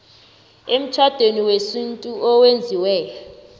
emtjhadweni wesintu owenziwe